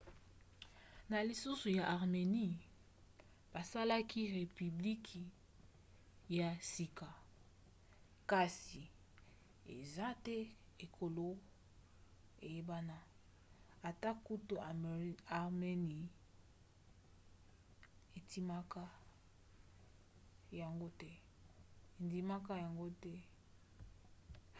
na lisungi ya armenie basalaki repiblike ya sika. kasi eza te ekolo eyebana - ata kutu armenie - endimaka yango te